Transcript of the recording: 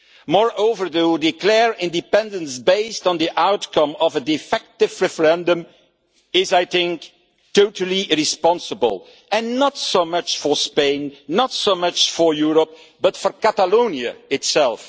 Moreover, to declare independence based on the outcome of a defective referendum is totally irresponsible, not so much for Spain, not so much for Europe, but for Catalonia itself.